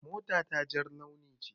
Mota ta jar launi ce.